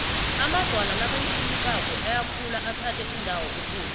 amadwala nakancibilikako ayakhula athathe indawo ekulu